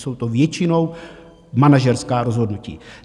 Jsou to většinou manažerská rozhodnutí.